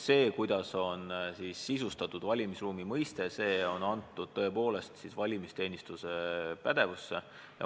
See, kuidas sisustada valimisruumi mõistet, on tõepoolest antud valimisteenistuse pädevusse.